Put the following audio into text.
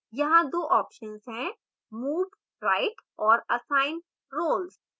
यहाँ 2 options हैं move right और assign roles